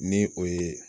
Ni o ye